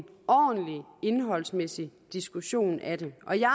ordentlig indholdsmæssig diskussion af det og jeg